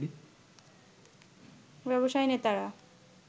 ব্যবসায়ী নেতারা